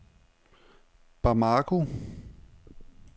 Bamako